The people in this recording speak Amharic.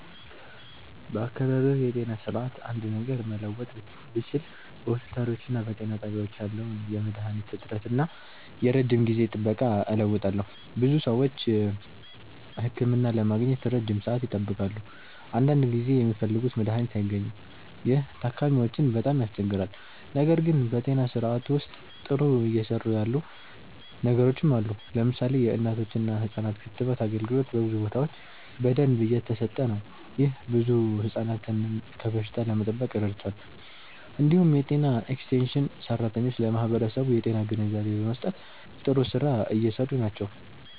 በአካባቢያዊ የጤና ስርዓት አንድ ነገር መለወጥ ብችል በሆስፒታሎችና በጤና ጣቢያዎች ያለውን የመድሃኒት እጥረት እና የረጅም ጊዜ ጥበቃ እለውጣለሁ። ብዙ ሰዎች ህክምና ለማግኘት ረጅም ሰዓት ይጠብቃሉ፣ አንዳንድ ጊዜም የሚፈልጉት መድሃኒት አይገኝም። ይህ ታካሚዎችን በጣም ያስቸግራል። ነገር ግን በጤና ስርዓቱ ውስጥ ጥሩ እየሰሩ ያሉ ነገሮችም አሉ። ለምሳሌ የእናቶችና ህፃናት ክትባት አገልግሎት በብዙ ቦታዎች በደንብ እየተሰጠ ነው። ይህ ብዙ ህፃናትን ከበሽታ ለመጠበቅ ረድቷል። እንዲሁም የጤና ኤክስቴንሽን ሰራተኞች ለማህበረሰቡ የጤና ግንዛቤ በመስጠት ጥሩ ስራ እየሰሩ ናቸው።